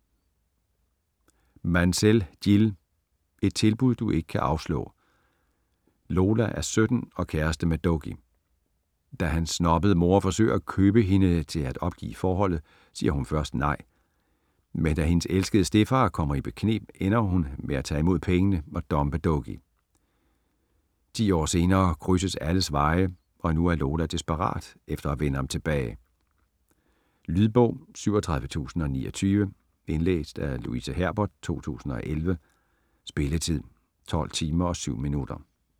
Mansell, Jill: Et tilbud du ikke kan afslå Lola er 17 og kæreste med Dougie. Da hans snobbede mor forsøger at købe hende til at opgive forholdet, siger hun først nej. Men da hendes elskede stedfar kommer i bekneb, ender hun med at tage imod pengene og dumpe Dougie. Ti år senere krydses alles veje, og nu er Lola desperat for at vinde ham tilbage. Lydbog 37029 Indlæst af Louise Herbert, 2011. Spilletid: 12 timer, 7 minutter.